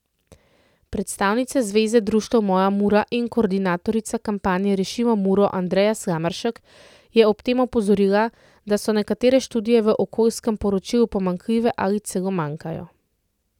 Predstavnica Zveze društev Moja Mura in koordinatorica kampanje Rešimo Muro Andreja Slameršek je ob tem opozorila, da so nekatere študije v okoljskem poročilu pomanjkljive ali celo manjkajo.